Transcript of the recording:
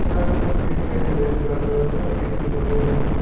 कुर्सियां दिखाई दे रहा है ब्राउन कलर का बनाने वाला है।